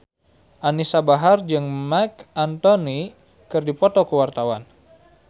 Anisa Bahar jeung Marc Anthony keur dipoto ku wartawan